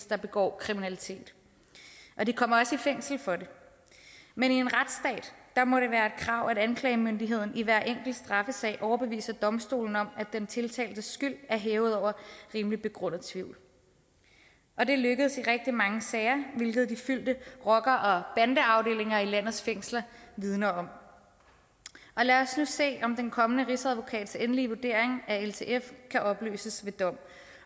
der begår kriminalitet og de kommer også i fængsel for det men i en retsstat må det være et krav at anklagemyndigheden i hver enkelt straffesag overbeviser domstolene om at den tiltaltes skyld er hævet over rimelig begrundet tvivl og det lykkes i rigtig mange sager hvilket de fyldte rocker og bandeafdelinger i landets fængsler vidner om lad os nu se den kommende rigsadvokats endelige vurdering af om ltf kan opløses ved dom